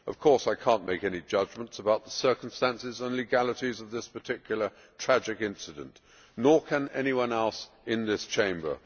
Of course I cannot make any judgments about the circumstances and legalities of this particular tragic incidence nor can anyone else in this Chamber.